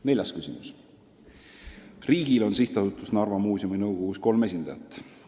Neljas küsimus: "Riigil on SA Narva Muuseum nõukogus kolm esindajat.